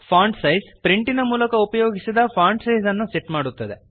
font size ಪ್ರಿಂಟಿನ ಮೂಲಕ ಉಪಯೋಗಿಸಿದ ಫಾಂಟ್ ಸೈಜ್ ಅನ್ನು ಸೆಟ್ ಮಾಡುತ್ತದೆ